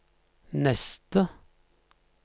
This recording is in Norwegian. neste